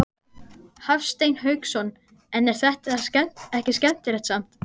Hafsteinn Hauksson: En er þetta skemmtilegt samt?